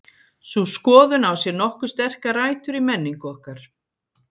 Sú skoðun á sér nokkuð sterkar rætur í menningu okkar.